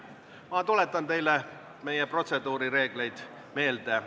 Ma tuletan teile meie protseduurireegleid meelde.